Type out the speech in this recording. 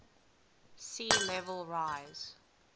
sea level rise